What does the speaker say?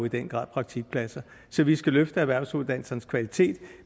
i den grad praktikpladser så vi skal løfte erhvervsuddannelsernes kvalitet